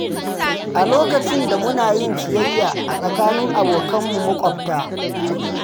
A lokacin da muna yin ciyayya a tsakanin abokanmu maƙwabta.